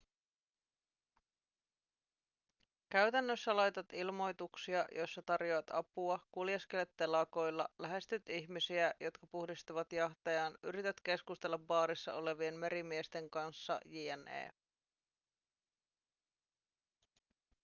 käytännössä laitat ilmoituksia joissa tarjoat apua kuljeskelet telakoilla lähestyt ihmisiä jotka puhdistavat jahtejaan yrität keskustella baarissa olevien merimiesten kanssa jne